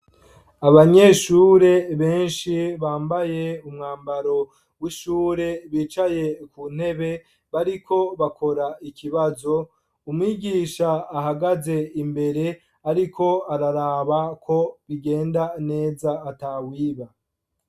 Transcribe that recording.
Abanyeshure benshi bambaye umwambaro w'ishure bicaye ku ntebe bariko bakora ikibazo umigisha ahagaze imbere, ariko araraba ko bigenda neza ata wiba.